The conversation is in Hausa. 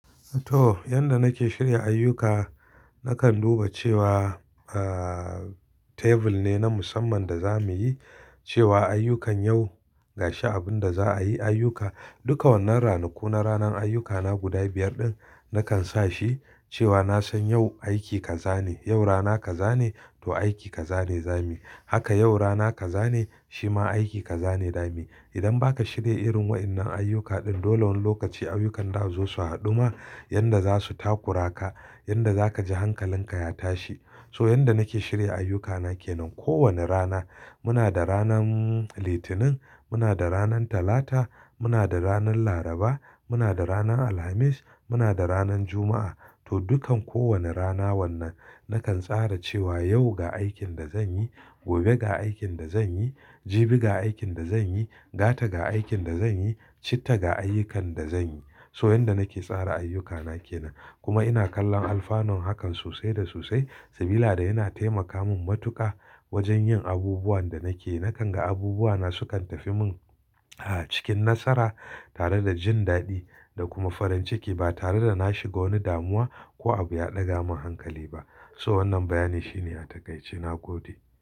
To, yanda nake shirya ayyuka, nakan duba cewa tebur ne na musamman da za muyi cewa ayyukan yau gashi abinda za a yi ayyuka. Duka wannan ranaku na ranan ayyuka na guda biyar ɗin nakan sashi nasan yau aiki kazane yau rana kazane to aiki kazane zamuy haka yau rana ka zane shima aiki ka zane zamuyi. Idan ba ka shirya irin waɗannan ayyuka din, dole wani lokaci ayyukan da zo su haduma yanda za su takura ka, yanda za ka ji hankalinka ya tashi. So, yanda nake shirya ayyukana ke nan. Ko wane rana muna da ranan Litinin, muna da ranan Talata, muna da ranan Laraba, muna da rana Alhamis, muna da ranan Juma'a. To, dukkan kowane rana wannan nakan tsara cewa yau ga aikin da zan yi, gobe ga aikin da zan yi, jibi ga aikin da zan yi, gata ga aikin da zan yi, citta ga ayyukan da zan yi. So, yanda nake tsara ayyukana ke nan. Kuma ina kallon alfano hakan sosai da sosai sabiy yana taimaka min matuƙa wajen yin abubuwan da nake. Nakan ga abubuwa na sukan tafi mun a cikin nasara tare da jin daɗi da kuma farin ciki ba tare da na shiga wani damuwa ko abu ya ɗaga min hankali ba. So wannan bayani shine a takaici na gode.